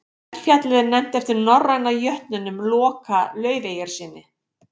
eldfjallið er nefnt eftir norræna jötninum loka laufeyjarsyni